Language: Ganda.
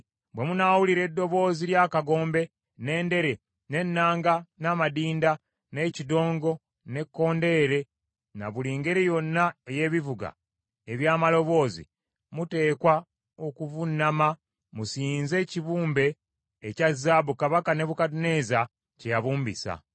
bwe munaawulira eddoboozi ly’akagombe, n’endere, n’ennanga, n’amadinda, n’ekidongo, n’ekkondeere, na buli ngeri yonna ey’ebivuga eby’amaloboozi, muteekwa okuvuunama musinze ekibumbe ekya zaabu Kabaka Nebukadduneeza kye yabumbisa.